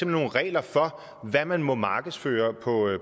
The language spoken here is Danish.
nogle regler for hvad man må markedsføre